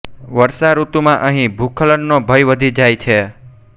વર્ષા ઋતુમાં અહીં ભૂસ્ખલનનો ભય વધી જાય છે